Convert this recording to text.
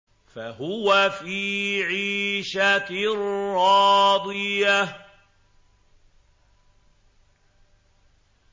فَهُوَ فِي عِيشَةٍ رَّاضِيَةٍ